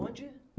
Onde?